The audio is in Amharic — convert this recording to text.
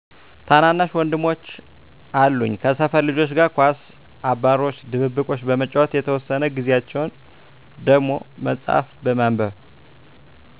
ታናናሽ ወንድሞች አሉኝ ከሰፈር ልጆች ጋር ኳስ አባሮሽ ድብብቆሽ በመጫወት የተወሰነ ጊዛቸውን ደሞ መፅሀፍ በማንበብ